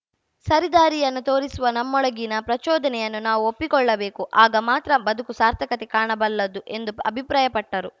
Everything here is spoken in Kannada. ಸರಿದಾರಿಯನ್ನು ತೋರಿಸುವ ನಮ್ಮೊಳಗಿನ ಪ್ರಚೋದನೆಯನ್ನು ನಾವು ಒಪ್ಪಿಕೊಳ್ಳಬೇಕು ಆಗ ಮಾತ್ರ ಬದುಕು ಸಾರ್ಥಕತೆ ಕಾಣಬಲ್ಲುದು ಎಂದು ಅಭಿಪ್ರಾಯಪಟ್ಟರು